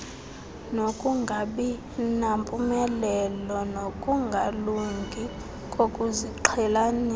nokungabinampumelelo nokungalungi kokuziqhelanisa